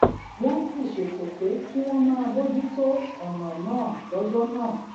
wón sì ṣètò pé kí wón máa bójú tó ònà náà lójó náà